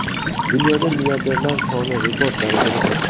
Dunyoda milliarderlar soni rekord darajada oshdi.